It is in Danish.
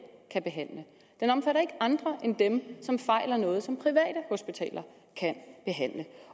kan behandle den omfatter ikke andre end dem som fejler noget som private hospitaler kan behandle